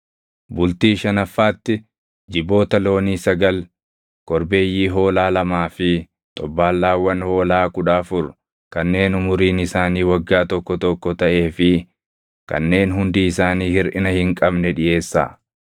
“ ‘Bultii shanaffaatti jiboota loonii sagal, korbeeyyii hoolaa lamaa fi xobbaallaawwan hoolaa kudha afur kanneen umuriin isaanii waggaa tokko tokko taʼee fi kanneen hundi isaanii hirʼina hin qabne dhiʼeessaa.